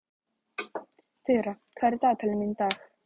Þura, hvað er í dagatalinu mínu í dag?